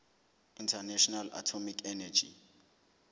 international atomic energy